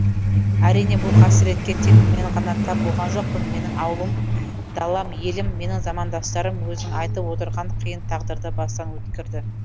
әрине бұл қасіретке тек мен ғана тап болған жоқпын менің ауылым далам елім менің замандастарым өзің айтып отырған қиын тағдырды бастан өткерді